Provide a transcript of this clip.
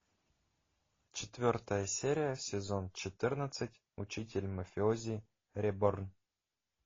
четвертая серия сезон четырнадцать учитель мафиози реборн